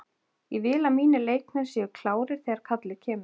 Ég vil að mínir leikmenn séu klárir þegar kallið kemur.